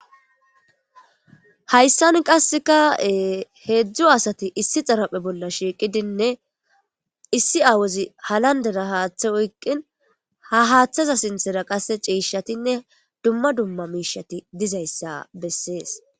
Hayisan qasika hedzdzu asati issi xarpheza bolla shiqidinne issi awazi halandera hatha oyiqin ha hathaza sintara qasi ci,shatinne duma duma mishati dizayisa beses